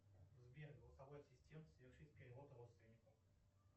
сбер голосовой ассистент совершить перевод родственнику